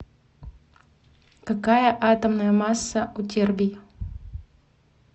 какая атомная масса у тербий